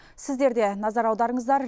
сіздер де назар аударыңыздар